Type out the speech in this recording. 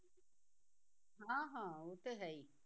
ਹਾਂ ਹਾਂ ਉਹ ਤੇ ਹੈ ਹੀ